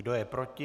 Kdo je proti?